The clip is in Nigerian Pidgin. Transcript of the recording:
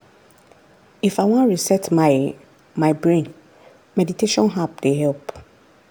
if i wan reset my my brain meditation app dey help.